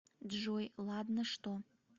джой ладно что